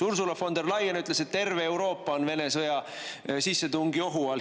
Ursula von der Leyen ütles, et terve Euroopa on Vene sõjalise sissetungi ohu all.